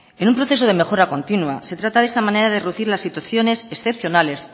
en un proceso de mejora continua se trata de esa manera de reducir las situaciones excepcionales